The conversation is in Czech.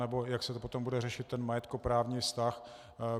Nebo jak se to potom bude řešit, ten majetkoprávní vztah.